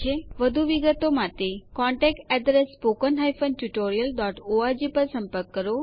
વધુ વિગતો માટે contactspoken tutorialorg પર સંપર્ક કરો